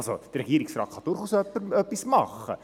Der Regierungsrat kann durchaus etwas machen.